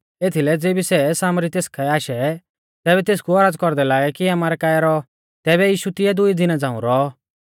एथीलै ज़ेबी सै सामरी तेस काऐ आशै तैबै तेसकु औरज़ कौरदै लागै कि आमारै काऐ रौऔ तैबै यीशु तिऐ दुई दिना झ़ांऊ रौ